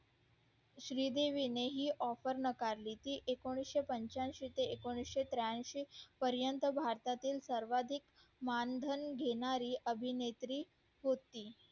श्री देवी ने ही offer नाकारली ती एकोणीशे पंच्यांशी ते एकोणीशे पर्यंत भारतातील सार्वधिक मानधन घेणारी अभिनेत्री होती